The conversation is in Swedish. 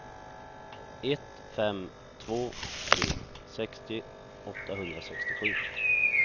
ett fem två tre sextio åttahundrasextiosju